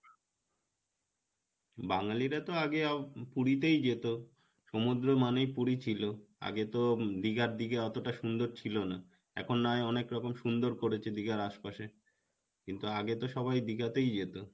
বাঙালিরা তো আগে পুরিতেই যেতো সমুদ্র মানে পুরি ছিলো আগে তো দীঘার দিকে অতটা সুন্দর ছিলো না এখন না হয় অনেকরকম সুন্দর করেছে দীঘার আশপাশে কিন্তু আগে তো সবাই দীঘাতেই যেতো